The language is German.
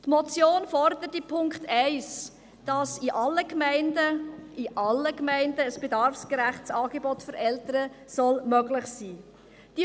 Die Motion fordert mit dem Punkt 1, dass in Gemeinden ein bedarfsgerechtes Angebot für Eltern möglich sein soll.